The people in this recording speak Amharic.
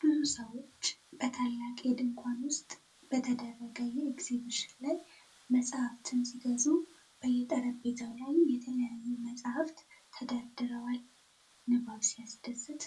ብዙ ሰዎች በታላቅ የድንኳን ውስጥ በተደረገ የኤግዚቢሽን ላይ መጻሕፍትን ሲገዙ ። በየጠረጴዛው ላይ የተለያዩ መጻሕፍት ተደርድረዋል! ንባብ ሲያስደስት!